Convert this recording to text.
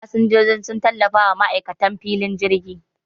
Fasinjiji sun tallafawa ma'aikatan filin jirgi